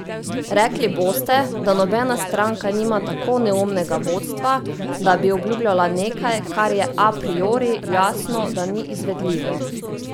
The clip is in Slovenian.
Rekli boste, da nobena stranka nima tako neumnega vodstva, da bi obljubljala nekaj, kar je a priori jasno, da ni izvedljivo.